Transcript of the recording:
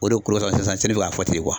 O de sisan bɛ ka fɔ ten.